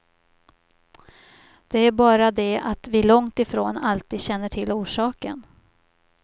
Det är bara det att vi långtifrån alltid känner till orsaken.